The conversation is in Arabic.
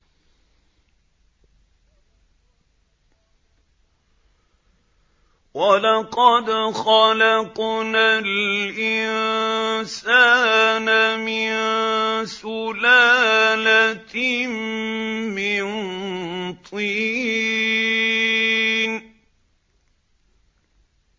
وَلَقَدْ خَلَقْنَا الْإِنسَانَ مِن سُلَالَةٍ مِّن طِينٍ